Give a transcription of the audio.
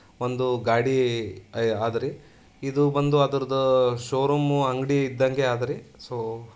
ಒಂದು ಗಾಡಿ ಆದರೆ ಇದು ಒಂದು ಅದ್ರದ್ ಶೋ ರೂಂ ಅಂಗಡಿ ಇದ್ದಂಗೆ ಆದ್ರೆ ಸೋ --